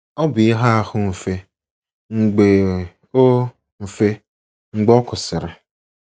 Ọ bụ ihe ahụ mfe mgbe ọ mfe mgbe ọ kwụsịrị. ”